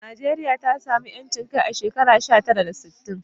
Najeriya ta samu 'yancin kai a shekara sha tara da sittin